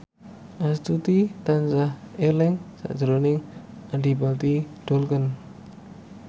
Astuti tansah eling sakjroning Adipati Dolken